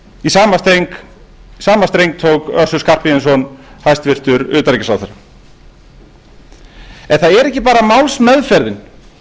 í sama streng tók össur skarphéðinsson hæstvirts utanríkisráðherra en það er ekki bara málsmeðferðin